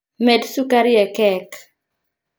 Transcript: Med sukari e kek